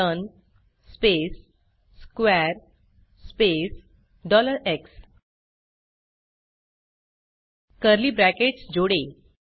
learn space square space x curly brackets जोड़ें